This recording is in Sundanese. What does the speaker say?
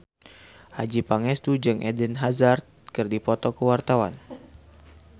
Adjie Pangestu jeung Eden Hazard keur dipoto ku wartawan